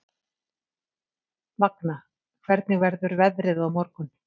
Vagna, hvernig verður veðrið á morgun?